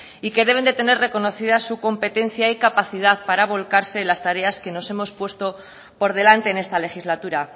y que deben de tener reconocida su competencia y capacidad para volcarse en las tareas que nos hemos puesto por delante en esta legislatura